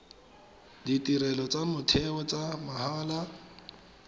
ditirelo tsa motheo tsa mahala